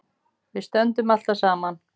Við stöndum alltaf saman